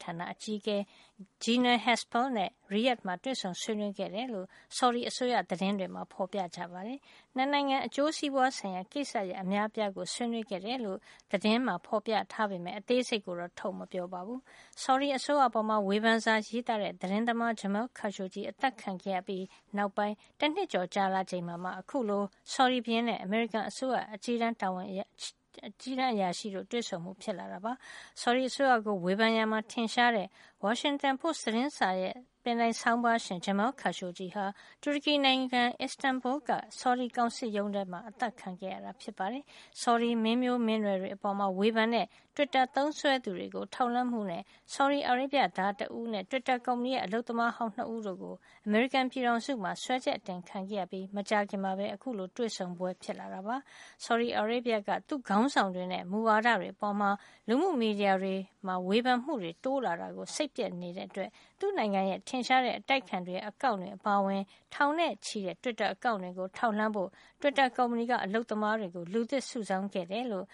ဌာန အကြီးအကဲ Gina Haspel နဲ့ Riyadah မှာ တွေ့ဆုံ ဆွေးနွေးခဲ့တယ်လို့ ဆော်ဒီအစိုးရ သတင်းမှာ ဖေါ်ပြထားပါတယ်။ ၂ နိုင်ငံ အကျိုးစီးပွားဆိုင်ရာ ကိစ္စရပ် အများအပြားကို ဆွေးနွေးခဲ့တယ်လို့ သတင်းမှာဖေါ်ပြပေမယ့် အသေးစိတ်ကိုတော့ ထုတ်မပြောပါဘူး။ ဆော်ဒီအစိုးရအပေါ် ဝေဖန်စာရေးတဲ့ သတင်းသမား Jamal Khashoggi အသတ်ခံခဲ့ရပြီး နောက်ပိုင်း တနှစ်ကျော်ကြာလာချိန်မှာမှ အခုလို ဆော်ဒီဘုရင်နဲ့ အမေရိကန်အစိုးရ အကြီးတန်းအရာရှိတို့ရဲ့ တွေ့ဆုံမှု ဖြစ်လာတာပါ။ ဆော်ဒီအစိုးရကို ဝေဖန်ရာမှာ ထင်ရှားတဲ့ Washington Post သတင်းစာ ဆောင်းပါးရှင် Jamal Khashoggi ဟာ တူရကီနိုင်ငံ Istanbul က ဆော်ဒီကောင်စစ်ရုံးထဲမှာ အသတ်ခံခဲ့ရတာ ဖြစ်ပါတယ်။ ဆော်ဒီမင်းမျိုးမင်းနွယ်တွေ အပေါ်မှာ ဝေဖန်တဲ့ တွစ်တာသုံးစွဲသူတွေကို ထောက်လှမ်းမှုနဲ့ ဆော်ဒီအာရေဗျသား တဦးနဲ့ တွစ်တာကုမ္ပဏီရဲ့ အလုပ်သမားဟောင်း ၂ ဦးတို့ အမေရိကန်ပြည်ထောင်စုထဲမှာ စွဲချက်တင်ခံခဲ့ရပြီး မကြာခင်မှာပဲ အခုလို တွေ့ဆုံပွဲ ဖြစ်လာတာပါ။ ဆော်ဒီအာရေဗျက သူ့ခေါင်းဆောင်တွေနဲ့ မူဝါဒတွေအပေါ် လူမှုမီဒီယာမှာ ဝေဖန်မှုတွေ တိုးလာတာကို စိတ်ပျက်နေတဲ့အတွက် သူ့နိုင်ငံရဲ့ ထင်ရှားတဲ့ အတိုက်အခံတွေရဲ့ အကောင့်တွေအပါအဝင် ထောင်နဲ့ချီတဲ့ တွစ်တာ အကောင့်တွေကို ထောက်လှမ်းဖို့ တွစ်တာ ကုမ္ပဏီက အလုပ်သမားတွေကို လူသစ်စုဆောင်းခဲ့တယ်လို့